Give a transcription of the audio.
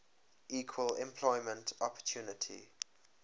equal employment opportunity